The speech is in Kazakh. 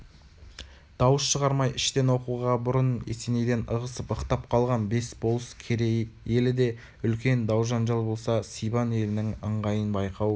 дауыс шығармай іштен оқуғабұрын есенейден ығысып-ықтап қалған бес болыс керей елі де үлкен дау-жанжал болса сибан елінің ыңғайын байқау